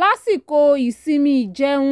lásìkò ìsinmi ìjẹun